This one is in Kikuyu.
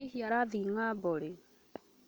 Hihi arathiĩ ng'ambo rĩ?